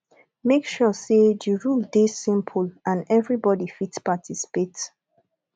make sure say di rule de simple and eveybody fit participate